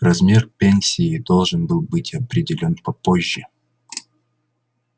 размер пенсии должен был быть определён попозже